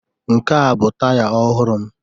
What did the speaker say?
Nke a bụ taya ọhụrụ m